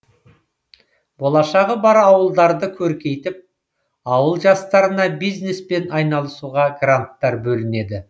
болашағы бар ауылдарды көркейтіп ауыл жастарына бизнеспен айналысуға гранттар бөлінеді